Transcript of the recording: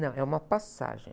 Não, é uma passagem.